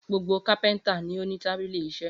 Gbogbo kápẹ́ńtà ni ó ní tábìlì iṣẹ́.